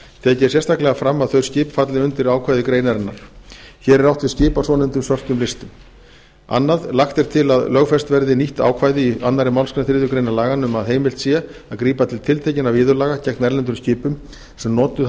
er sérstaklega fram að þau skip falli undir ákvæði greaanrinnar hér er átt við skip á svonefndum svörtum listum annars lagt er til að lögfest verði nýtt ákvæði í annarri málsgrein þriðju grein laganna um að heimild sé að grípa til tiltekinna viðurlaga gegn erlendum skipum sem notuð